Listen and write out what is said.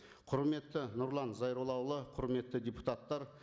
құрметті нұрлан зайроллаұлы құрметті депутаттар